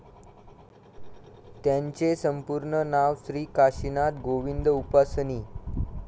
त्यांचे संपूर्ण नाव श्री काशिनाथ गोविंद उपासनी.